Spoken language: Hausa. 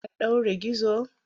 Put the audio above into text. An ɗaure gizo?